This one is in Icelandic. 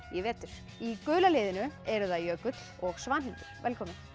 í vetur í gula liðinu eru það Jökull og Svanhildur velkomin